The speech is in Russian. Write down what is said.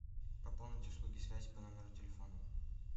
пополнить услуги связи по номеру телефона